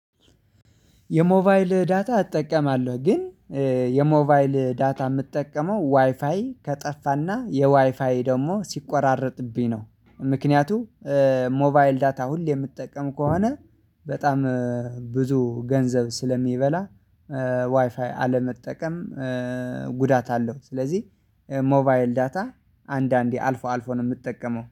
የሞባይል ዳታ እጠቀማለሁ ግን የሞባይል ዳታ የምጠቀመው ዋይፋይ ከጠፋና የዋይፋይ ደግሞ ሲቆራረጥብኝ ነው። ምክንያቱም ሞባይል ዳታ ሁሌ የምጠቀም ከሆነ በጣም ብዙ ገንዘብ ስለሚበላ ዋይፋይ አለመጠቀም ጉዳት አለው። ስለዚህ ሞባይል ዳታ አንዳንዴ አልፎ አልፎ ነው የምጠቀመው